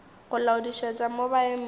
go laodišetša mo ba emego